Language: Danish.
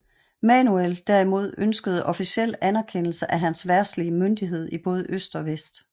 Manuel derimod ønskede officiel anerkendelse af hans verdslige myndighed i både øst og vest